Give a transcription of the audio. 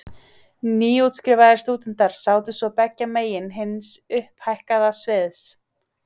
Nýútskrifaðir stúdentar sátu svo beggja megin hins upphækkaða sviðs.